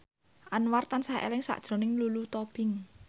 Anwar tansah eling sakjroning Lulu Tobing